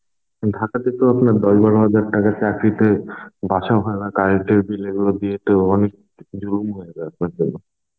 ঢাকাতে তো আপনার দশ বারো হাজার টাকার চাকরীতে বাছা হয় না. current এর bill এগুলো দিয়ে তো অনেক জুলুম হয়ে যায় আপনাদের জন্য.